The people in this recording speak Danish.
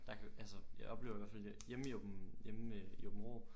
Der kan altså jeg oplever i hvad fald hjemme i hjemme i Aabenraa